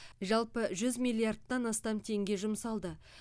жалпы жүз миллиардтан астам теңге жұмсалды